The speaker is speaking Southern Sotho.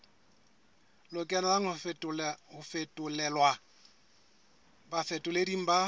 lokelang ho fetolelwa bafetoleding ba